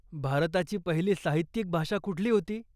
भारताची पहिली साहित्यिक भाषा कुठली होती?